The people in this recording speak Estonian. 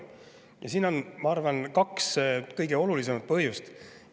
Ja siin on, ma arvan, kaks kõige olulisemat põhjust.